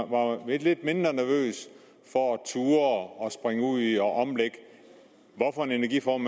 og være lidt mindre nervøs for og turde at springe ud i at omlægge den energiform